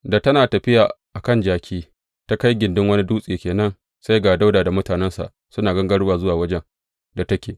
Da tana tafiya a kan jaki, ta kai gindin wani dutse ke nan, sai ga Dawuda da mutanensa suna gangarowa zuwa wajen da take.